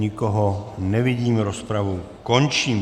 Nikoho nevidím, rozpravu končím.